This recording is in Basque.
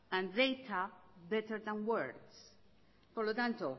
and data better than words por lo tanto